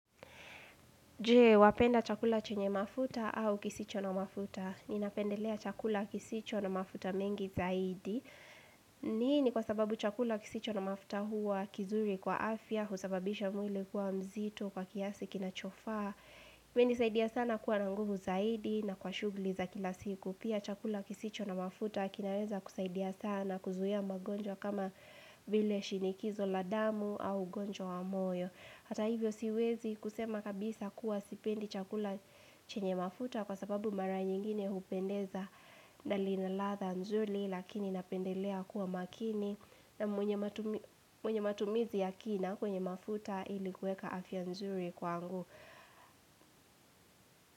Je, wapenda chakula chenye mafuta au kisicho na mafuta. Ninapendelea chakula kisicho na mafuta mengi zaidi. Nini kwa sababu chakula kisicho na mafuta huwa kizuri kwa afya, husababisha mwili kwa mzito kwa kiasi kinachofaa. Imenisaidia sana kuwa na nguvu zaidi na kwa shughuli za kila siku. Pia chakula kisicho na mafuta kinaweza kusaidia sana, kuzuia magonjwa kama vile shinikizo la damu au ugonjwa wa moyo. Hata hivyo siwezi kusema kabisa kuwa sipendi chakula chenye mafuta kwa sababu mara nyingine hupendeza na lina ladha nzuri lakini napendelea kuwa makini na mwenye matumi mwenye matumizi ya kina kwenye mafuta ili kuweka afya nzuri kwangu.